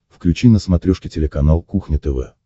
включи на смотрешке телеканал кухня тв